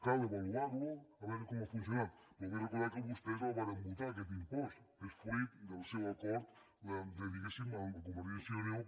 cal avaluar lo a veure com ha funcionat però vull recordar que vostès el varen votar aquest impost és fruit del seu acord diguéssim amb convergència i unió